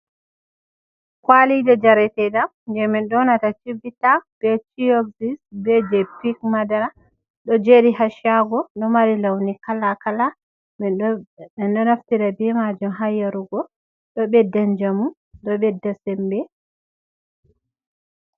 Kwalije Jareteɗam, Je Min Ɗonata Chiɓɓita Ɓe Pureɓilis, Ɓe Je Pik Maɗara Ɗo Jeri Ha Ca'ago, Ɗo Mari Launi Kala Kala Minɗo Naftira Ɓi Majum Ha Yarugo Ɗo Ɓeɗɗa Njamu Ɗo Ɓeɗɗa Semɓe.